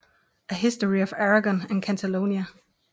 A History of Aragon and Catalonia